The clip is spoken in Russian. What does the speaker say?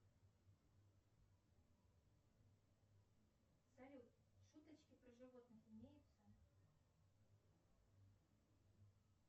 салют шуточки про животных имеются